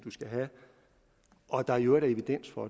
skal have og at der i øvrigt er evidens for